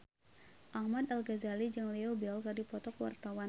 Ahmad Al-Ghazali jeung Leo Bill keur dipoto ku wartawan